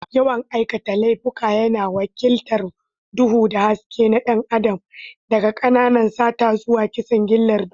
Yawan aikata laifuka yana wakiltar duhu da haske na ɗan adam, daga ƙananan sata zuwa kisan gillar duniya.